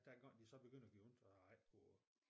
Dengang det så begyndte at gøre ondt og jeg ikke kunne